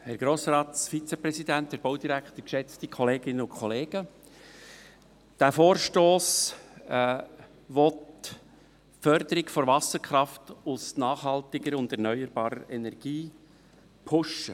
Der Vorstoss will die Förderung der Wasserkraft aus nachhaltiger und erneuerbarer Energie pushen.